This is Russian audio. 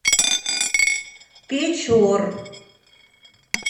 печор